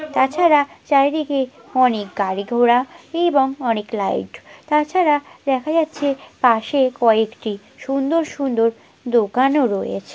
তাছাড়া চার দিকে অনেক গাড়ি ঘোড়া এবং অনেক লাইট তাছাড়া দেখা যাচ্ছে পাশে কয়েকটি সুন্দর সুন্দর দোকানও রয়েছে।